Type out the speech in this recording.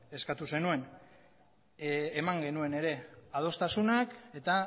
eskatu zenuen eman genuen ere adostasunak eta